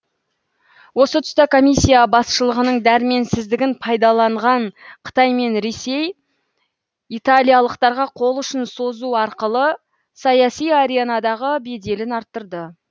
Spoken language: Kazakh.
осы тұста комиссия басшылығының дәрменсіздігін пайдаланған қытай мен ресей италиялықтарға қол ұшын созу арқылы саяси аренадағы беделін арттырды